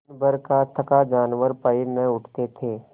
दिनभर का थका जानवर पैर न उठते थे